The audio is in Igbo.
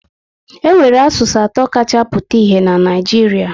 E nwere asụsụ atọ kacha pụta ìhè na Naịjiria